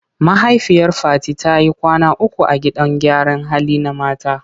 Mahaifiyar Fati ta yi kwana uku a gidan gyaran hali na mata.